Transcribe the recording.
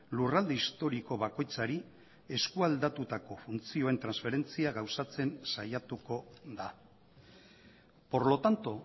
lurralde historiko bakoitzari eskualdatutako funtzioen transferentzia gauzatzen saiatuko da por lo tanto